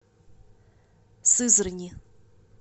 сызрани